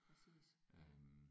Præcis ja